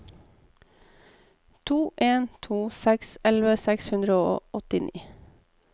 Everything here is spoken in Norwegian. to en to seks elleve seks hundre og åttini